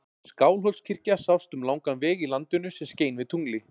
Skálholtskirkja sást um langan veg í landinu sem skein við tungli.